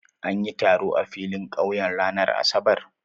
An yi taro a filin ƙauye ranar Asabar?